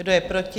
Kdo je proti?